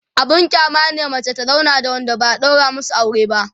abun kyama ne mace ta zauna da Wanda ba'a ɗaura masu aure ba